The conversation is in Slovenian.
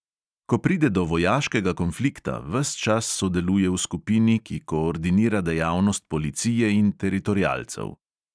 Ko pride do vojaškega konflikta, ves čas sodeluje v skupini, ki koordinira dejavnost policije in teritorialcev.